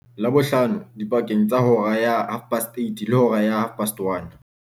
Labohlano dipakeng tsa hora ya 08:30 le hora ya 13:30.